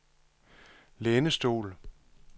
lænestol